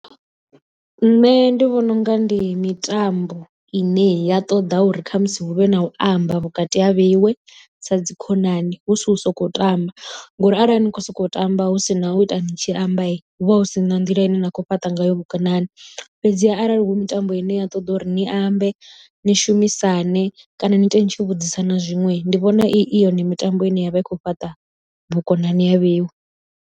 Nṋe ndi vhona unga ndi mitambo ine ya ṱoḓa uri khamusi hu vhe na u amba vhukati ha vheiwe sa dzikhonani hu si u sokou tamba ngori arali ni khou sokou tamba hu si na u ita ni tshi amba hu vha hu si na nḓila ine na khou fhaṱa ngayo vhukonani. Fhedziha arali hu mitambo ine ya ṱoḓa uri ni ambe ni shumisane kana ni ite ni tshi vhudzisana zwiṅwe ndi vhona i yone mitambo ine ya vha i khou fhaṱa vhukonani ha vheiwe.